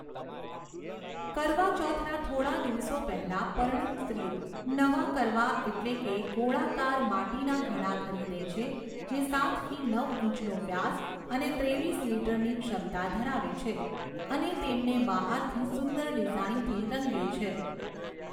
કરવા ચૌથના થોડા દિવસો પહેલાં, પરિણીત સ્ત્રીઓ નવા કરવા એટલે કે ગોળાકાર માટીના ઘડા ખરીદે છે જે સાતથી નવ ઇંચનો વ્યાસ અને ત્રેવીસ લિટરની ક્ષમતા ધરાવે છે અને તેમને બહારથી સુંદર ડિઝાઇનથી રંગે છે.